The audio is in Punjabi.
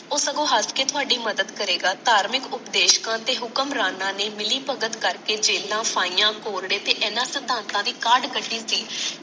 ਉਹ ਸਗੋਂ ਹਸ ਕੇ ਥੋੜੀ ਮਦਦ ਕਰੇਗਾ ਧਾਰਮਿਕ ਉਪਦੇਸ਼ਕਾਂ ਤੇ ਹੁਕਮ ਰਾਣਾ ਨੇ ਮਿਲੀਭਗਤ ਕਰਕੇ ਜੇਲਾਂ ਕੋਰੜੇ ਤੇ ਇਹਨਾਂ ਸਿਧਾਂਤਾਂ ਦੀ ਕਾਢ ਕਢੀ ਸੀ